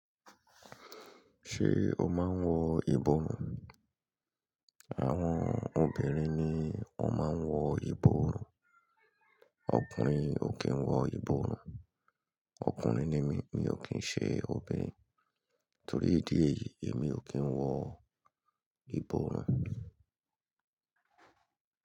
Ṣé o máa ń wọ ìbọrùn? Àwọn obìnrin ni ó máa ń wọ ìbọrùn. Ọkùnrin ò kí ń wọ ìbọrùn. Ọkùnrin ni mí, mi ò kí ń ṣe obìnrin. Torí ìdí èyí, èmi ò kí ń wọ ìbọrùn.